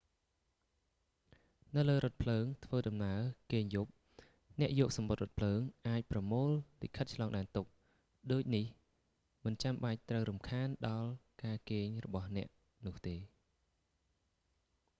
នៅលើរថភ្លើងធ្វើដំណើរគេងយប់ អ្នកយកសំបុត្ររថភ្លើង អាចប្រមូលលិខិតឆ្លងដែនទុក ដូចនេះមិនចាំបាច់ត្រូវរំខានដល់ការគេងរបស់អ្នកនោះទេ